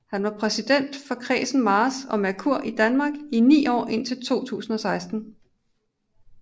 Han var præsident for Kredsen Mars og Merkur Danmark i ni år indtil 2016